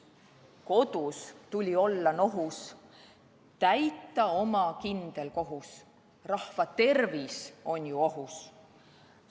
Kodus tuli olla nohus, täita oma kindel kohus, rahva tervis on ju ohus.